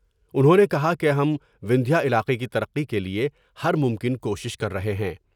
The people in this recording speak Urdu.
انہوں نے کہا کہ ہم وندھیہ علاقے کی ترقی کے لئے ہرممکن کوشش کر رہے ہیں ۔